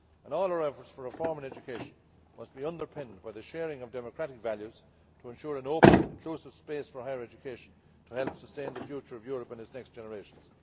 All our efforts for reform in education must be underpinned by the sharing of democratic values, in order to ensure an open, inclusive space for higher education to help sustain the future of Europe and its next generations.